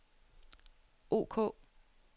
ok